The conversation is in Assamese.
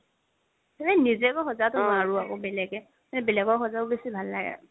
নিজেটো সজাব নোৱাৰো আকৌ বেলেগে মানে বেলেগক সজাব বেচি ভাল লাগে আৰু